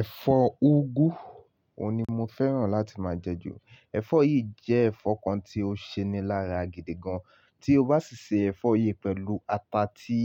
Ẹ̀fọ́ úgú, òun ni mo fẹ́ràn láti máa jẹ jù. Ẹ̀fọ́ yìí jẹ́ ẹ̀fọ́ kan tí ó ṣe ni lára gidi gan. Tí o bá sì se ẹ̀fọ́ yìí pẹ̀lú ata tí,